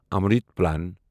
Amrut plan